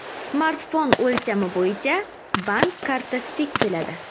Smartfon o‘lchami bo‘yicha bank kartasidek keladi.